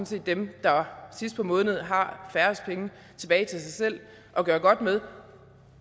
set dem der sidst på måneden har færrest penge tilbage til sig selv at gøre godt med